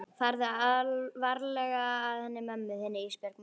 Farðu varlega að henni mömmu þinni Ísbjörg mín.